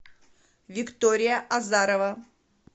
виктория азарова